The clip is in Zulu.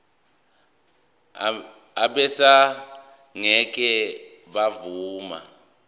abesars ngeke bavuma